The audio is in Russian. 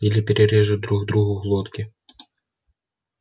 или перережут друг другу глотки